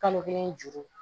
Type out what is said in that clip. Kalo kelen juru